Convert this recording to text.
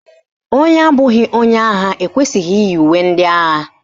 Onye abụghị onye agha ekwesịghị iyi uwe ndị agha